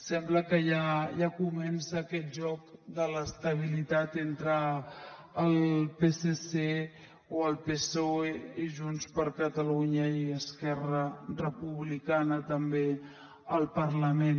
sembla que ja comença aquest joc de l’estabilitat entre el psc o el psoe i junts per catalunya i esquerra republicana també al parlament